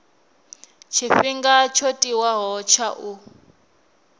tshifhinga tsho tiwaho tsha u